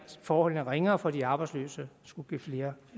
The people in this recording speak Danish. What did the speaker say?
forholdene ringere for de arbejdsløse skulle give flere